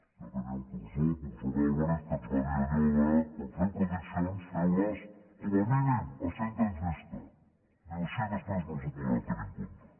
jo tenia un professor el professor álvarez que ens va dir allò de quan feu prediccions feu les com a mínim a cent anys vista diu així després no us ho podran tenir en compte